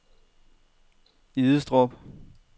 Idestrup